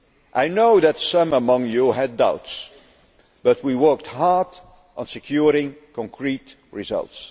I know that some among you had doubts, but we worked hard to secure concrete results.